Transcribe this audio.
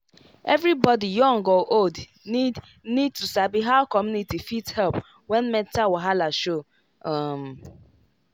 everybody young or old need need to sabi how community fit help when mental wahala show. um